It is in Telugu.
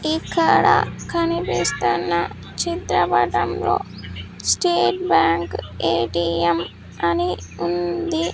ఇక్కడ కనిపిస్తున్న చిత్రపటంలో స్టేట్ బ్యాంక్ ఎ_టి_ఎం అని ఉంది.